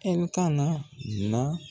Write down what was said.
Ɛli kana na